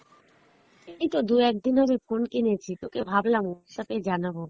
এইতো দু একদিন হবে phone কিনেছি, তোকে ভাবলাম Whatsapp এ জানাবো